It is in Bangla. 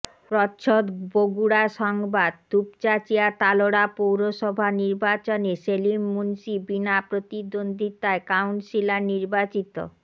প্রচ্ছদ বগুড়া সংবাদ দুপচাচিঁয়া তালোড়া পৌরসভা নির্বাচনে সেলিম মুন্সি বিনা প্রতিদ্বন্দ্বিতায় কাউন্সিলর নির্বাচিত